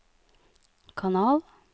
kanal